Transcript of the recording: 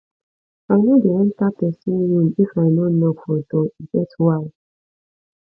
i no dey enta pesin room if i no knock for door e get why